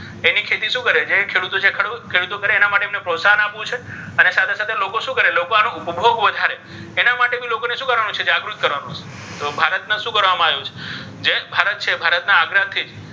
એની ખેતી શું કરે જે ખેડૂતો છે. એ ખેડૂત કરે એના માટે પ્રોત્સાહન આપવાનું છે. અને સાથે સાથે લોકો શું કરે? લોકો આને બનાવે વધારે એના માટે બી લોકોને શું કરવાનું છે? જાગૃત કરવાનું છે. તો ભારતને શું કરવામાં આવ્યું છે? જે ભારત છે એ ભારતના આગ્રહથી,